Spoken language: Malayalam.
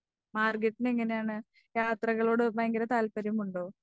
മാർഗരറ്റിന് എങ്ങനെയാണ് യാത്രകളോട് ഭയങ്കര താല്പര്യമുണ്ടോ?